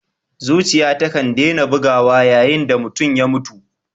Zuciya takan dena bugawa yayin da mutum ya mutu.